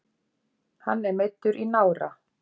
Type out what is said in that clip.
Hann er meiddur í nára